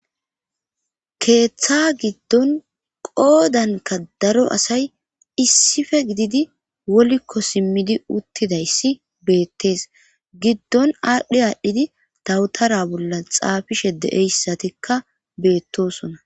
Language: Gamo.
keeththa giddon qoodanka daro asay issife gididi wolikko simmidi uttidayssi beettees giddon aadhdhe aadhdhidi dawutara bolla xaafishe deeyssatikka beettosona